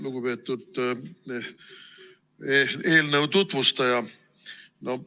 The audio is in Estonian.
Lugupeetud eelnõu tutvustaja!